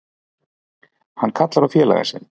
Hann kallar á félaga sinn.